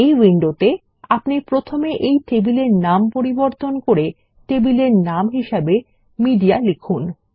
এই উইন্ডোতে আপনি প্রথমে এই টেবিলের নাম পরিবর্তন করে টেবিলের নাম হিসাবে মেডিয়া লিখুন